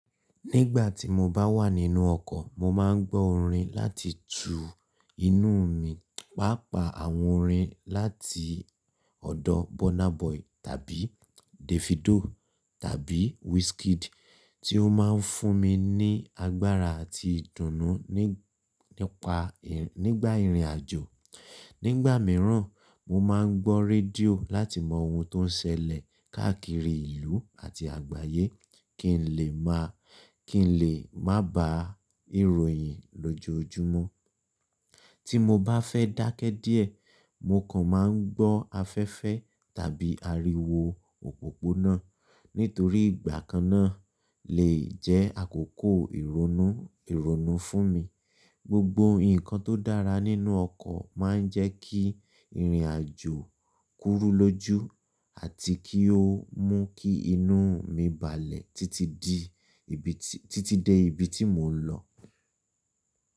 Nígbà tí mo bá wà nínú ọkọ̀, mo máa ń gbọ́ orin láti tu inú mi, pàápàá àwọn orin láti ọ̀dọ̀ Burna Boy tàbí Davido tàbí Wizkid tí ó máa ń fún mi ní agbára àti ìdùnnú nípa nígbà ìrìn àjò. Nígbà mìíràn, mo máa ń gbọ́ rédíò láti mọ ohun tó ń ṣẹlẹ̀ káàkiri ìlú àti àgbáyé kí n lè má kí n lè má ba ìròyìn lójoojúmọ́. Tí mo bá fẹ́ dákẹ́ díẹ̀, mo kàn máa ń gbọ́ afẹ́fẹ́ tàbí ariwo òpópónà, nítorí ìgbà kan náà lè jẹ́ àkókò ìrónú ìrónú fún mi. Gbogbo nǹkan tó dára nínú ọkọ̀ máa ń jẹ́ kí ìrìn àjò kúrú lójú àti kí ó mú kí inú mi balẹ̀ títí di ibi tí títí dé ibi tí mò ń lọ.